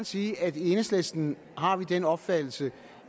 sige at vi i enhedslisten har den opfattelse